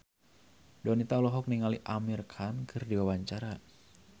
Donita olohok ningali Amir Khan keur diwawancara